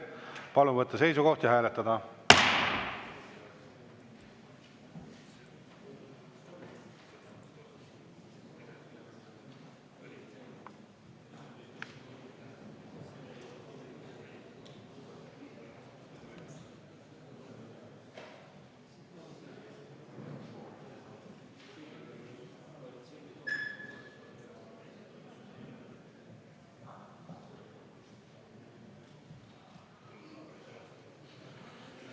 Palun võtta seisukoht ja hääletada!